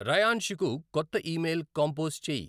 రయాంష్ కి కొత్త email compose చెయ్